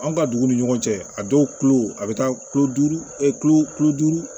An ka dugu ni ɲɔgɔn cɛ a dɔw kulo a bɛ taa kulo duuru kulo kilo duuru